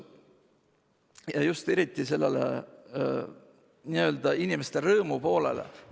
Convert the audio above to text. Eriti just sellele n-ö inimeste rõõmu poolele.